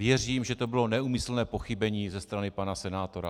Věřím, že to bylo neúmyslné pochybení ze strany pana senátora.